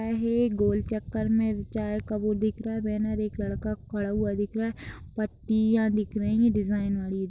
है गोल चक्कर में चाय का वो दिख रहा है बैनर एक लड़का खड़ा हुआ दिख रहा है पत्तियां दिख रही है डिज़ाइन वाली।